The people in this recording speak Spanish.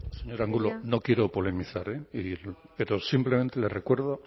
señor angulo no quiero polemizar pero simplemente le recuerdo